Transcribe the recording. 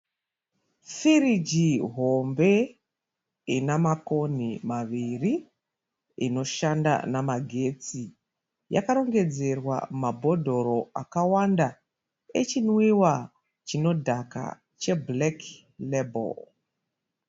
Firigi hombe ina makonhi maviri inoshanda namagetsi. Yakarongedzerwa mabhodhoro akawanda echinwiwa chinodhaka cheBlack label.